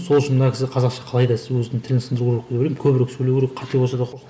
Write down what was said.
сол үшін мына кісі қазақша қалайда сөздің тілін сындыру керек деп ойлаймын көбірек сөйлеу керек қате болса да